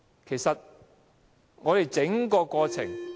其實我們整個過程......